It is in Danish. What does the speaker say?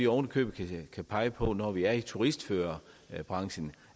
oven i købet kan pege på når vi er i turistførerbranchen